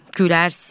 gülərsiz.